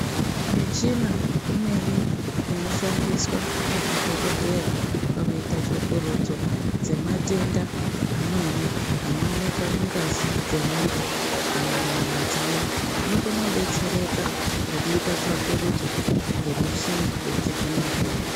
Michina imweni inoshandiswa ngemadhokodheya pakuita tsvakurudzo dzematenda amweni anooneka mungazi dzevanthu kana munyama dzavo, vanokona kudetsereka ngekuita tsvakurudzo ngemichina yechizvino-zvino.